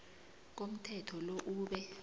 komthetho lo ube